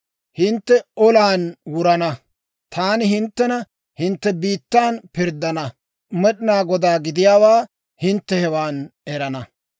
Hintte olan wurana; taani hinttena hintte biittan pirddana. Med'inaa Godaa gidiyaawaa hintte hewan erana.